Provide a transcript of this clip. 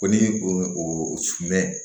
Ko ni o sumana